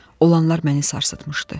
Olanlar məni sarsıtmışdı.